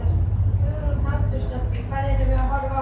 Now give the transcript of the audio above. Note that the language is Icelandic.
Hugrún Halldórsdóttir: Hvað erum við að horfa á?